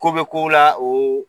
Ko be kow la o